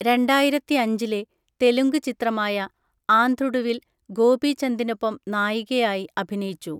രണ്ടായിരത്തിഅഞ്ചിലെ തെലുങ്ക് ചിത്രമായ ആന്ധ്രുഡുവിൽ ഗോപിചന്ദിനൊപ്പം നായികയായി അഭിനയിച്ചു.